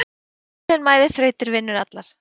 Þolinmæði þrautir vinnur allar.